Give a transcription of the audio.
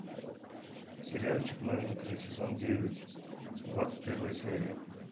сериальчик новенькая сезон девять двадцать первая серия